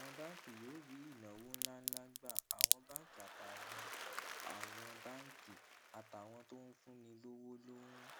àwọn báńkì yóò rí ìnáwó ńláǹlà gbà àwọn báńkì àtàwọn àwọn báńkì àtàwọn tó ń fúnni lówó ló ń